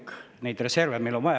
Kuigi neid reserve on meil vaja.